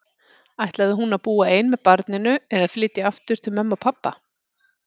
Ætlaði hún að búa ein með barninu, eða flytja aftur heim til mömmu og pabba?